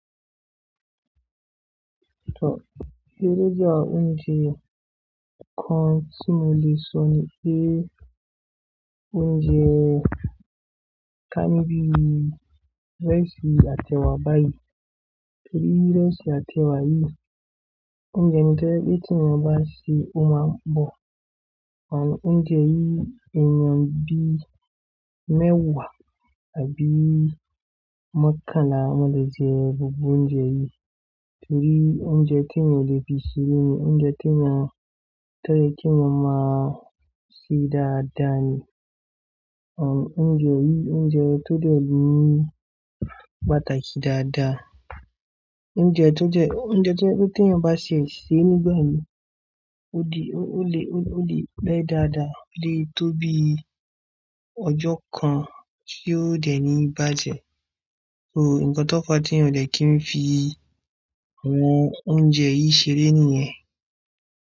Eré jẹ́ àwọn oúnjẹ kan tí mo lè sọ ni pé oúnjẹ kan ni bi rice àti ẹ̀wà báyìí. Torí rice àti ẹ̀wà yìí, óúnjẹ tó ẹ pe tíì yań bá ṣe ọ ma n bọ̀. Àn oúnjẹ yìí èèyàn bí mẹ́wàá àbí mọ̀kanla wan le jẹ gbogbo oúnjẹ yìí. Torí oúnjẹ tí eyań oblè fi sere ni oúnjẹ tí eyań tẹ ki eyan má sì dáadáa ni. Àn oúnjẹ yìí oúnjẹ tó dẹ ni pàtàkì dáadáa. Oúnjẹ tó jẹ́ pe tí ẹ̀yan bá ṣe sé nígbà mìí ó lè pẹ́ dáadáa, ó lè tó bí ọjọ́ kan tí ó dẹ̀ ní bá jẹ. So nǹkan tó kọ tí yin o dẹ kí n fi àwọn oúnjẹ yìí ṣeré nìyẹn.